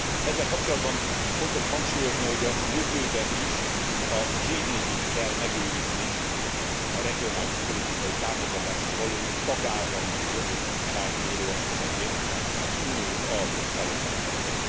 Ezzel kapcsolatban fontos hangsúlyozni, hogy a jövőben is a GDP t kell megőrizni a regionális politikai támogatásra való tagállami jogosultság mérőeszközeként az uniós alapok felosztásakor.